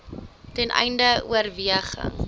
ten einde oorweging